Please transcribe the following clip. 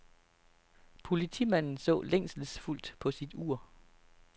Politimanden så længselsfuldt på sit ur.